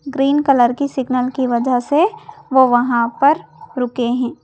Green colour की signal की वजह से वो वहां पर रुके हैं।